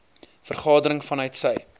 vergadering vanuit sy